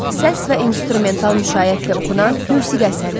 Səs və instrumental müşayiətlə oxunan musiqi əsəridir.